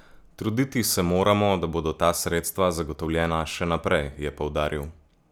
Truditi se moramo, da bodo ta sredstva zagotovljena še naprej, je poudaril.